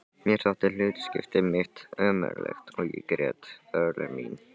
Mér þótti hlutskipti mitt ömurlegt og ég grét örlög mín.